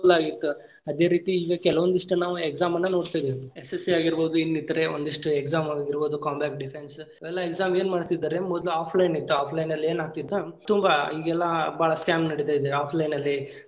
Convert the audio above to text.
ಅನುಕೂಲ ಆಗಿತ್ ಅದೇ ರೀತಿ ಈಗ ಕೆಲವೊಂದಿಷ್ಟ್ ಈಗ exam ನ್ನ ನೋಡ್ತಿದ್ವಿ ಆಗಿರಬಹುದು ಇನ್ನಿತರೇ ಒಂದಿಷ್ಟು exam ಆಗಿರಬಹುದು defense ಇವೆಲ್ಲಾ exam ಏನ್ ಮಾಡ್ತಿದ್ದಾರೆ ಮೊದ್ಲು offline ಇತ್ತು offline ಲ್ಲಿ ಏನಾಗತಿತ್ತು ತುಂಬಾ ಇಗೆಲ್ಲಾ ಬಾಳ scam ನಡೀತಾ ಇದೆ offline ಲ್ಲಿ.